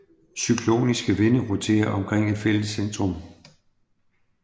Cykloniske vinde roterer omkring et fælles centrum